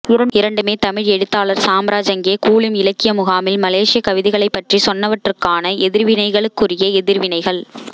இரண்டுமே தமிழ் எழுத்தாளர் சாம்ராஜ் அங்கே கூலிம் இலக்கிய முகாமில் மலேசியக் கவிதைகளைப்பற்றிச் சொன்னவற்றுக்கான எதிர்வினைகளுக்குரிய எதிர்வினைகள்